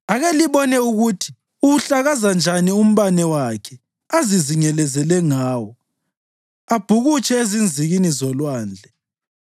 Ake libone ukuthi uwuhlakaza njani umbane wakhe azizingelezele ngawo, abhukutshe ezinzikini zolwandle.